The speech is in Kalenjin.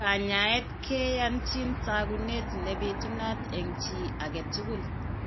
Kanyaayet keyachin taakunet ne bitunat en cchii age tugul.